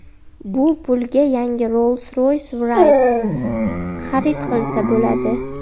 Bu pulga yangi Rolls-Royce Wraith xarid qilsa bo‘ladi.